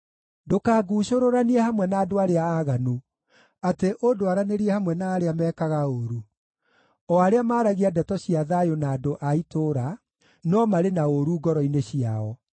Ndũkanguucũrũranie hamwe na andũ arĩa aaganu, atĩ ũndwaranĩrie hamwe na arĩa mekaga ũũru, o arĩa maaragia ndeto cia thayũ na andũ a itũũra, no marĩ na ũũru ngoro-inĩ ciao.